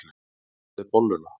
Ég blandaði bolluna.